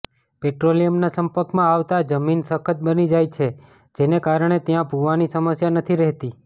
પેટ્રોલિયમના સંપર્કમાં આવતા જમીન સખત બની જાય છે જેને કારણે ત્યાં ભૂવાની સમસ્યા નથી રહેતી